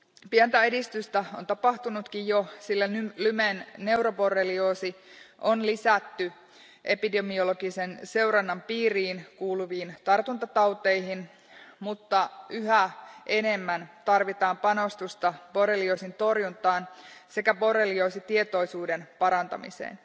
Pientä edistystä on tapahtunutkin jo, sillä Lymen neuroborrelioosi on lisätty epidemiologisen seurannan piiriin kuuluviin tartuntatauteihin, mutta yhä enemmän tarvitaan panostusta borrelioosin torjuntaan sekä borrelioosia koskevan tietoisuuden parantamiseen.